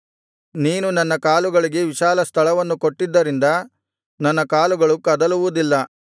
ನೀನು ನನ್ನ ಕಾಲುಗಳಿಗೆ ವಿಶಾಲ ಸ್ಥಳವನ್ನು ಕೊಟ್ಟಿದ್ದರಿಂದ ನನ್ನ ಕಾಲುಗಳು ಕದಲುವುದಿಲ್ಲ